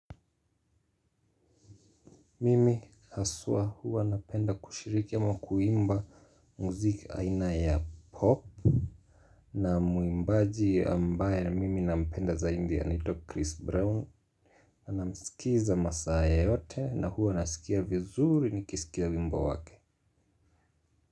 Mimi haswa huwa napenda kushiriki ama kuimba muziki aina ya pop. Na muimbaji ambaye mimi nampenda zaidi anaitwa Chris Brown namsikiza masaa yoyote na huwa nasikia vizuri nikisikia wimbo wake.